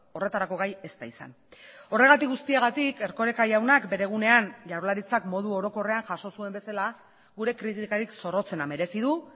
horretarako gai ez da izan horregatik guztiagatik erkoreka jaunak bere egunean jaurlaritzak modu orokorrean jaso zuen bezala gure kritikarik zorrotzena merezi du